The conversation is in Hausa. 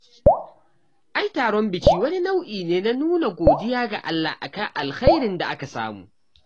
Ai taron biki wani nau'i ne na nuna godiya ga Allah a kan alkhairin da aka samu